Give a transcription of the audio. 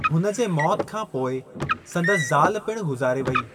हुन जे मौत खां पोइ संदसि ज़ाल पिणु गुज़ारे वेई।